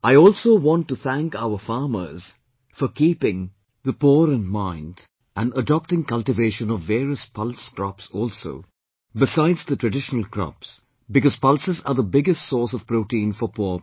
I also want to thank our farmers for keeping the poor in mind and adopting cultivation of various pulse crops also besides the traditional crops because pulses are the biggest source of protein for poor people